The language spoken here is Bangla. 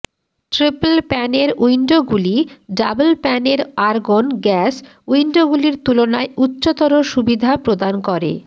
ট্রিপল প্যানের উইন্ডোগুলি ডাবল প্যানের আর্গন গ্যাস উইন্ডোগুলির তুলনায় উচ্চতর সুবিধা প্রদান করে